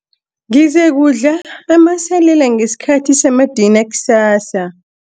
Ngizakudla amasalela ngesikhathi samadina kusasa.